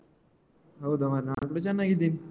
ಹೌದಾ ಮಾರೆ ನಾನು ಕೂಡಾ ಚನ್ನಾಗಿದ್ದೇನೆ.